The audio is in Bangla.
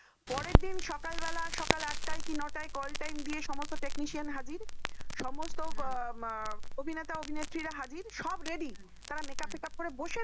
পরের দিন সকালবেলায় সকাল আটায় কি নটায় call time দিয়ে সমস্ত technician হাজির হম সমস্ত অভিনেতা অভিনেত্রীরা হাজির সব রেডি হম হম তারা makeup makeup করে বসে আছে